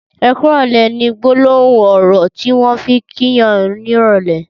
''Ẹ kùrọ̀lẹ̀'' ni gbólóhún ọrọ tiwọn fi n kí yàn nirọlẹ̀